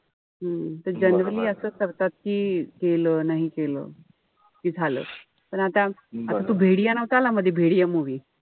हम्म त generally असं करतात कि केलं नाही केलं. कि झालं. पण आता आता तो नव्हता आला मध्ये movie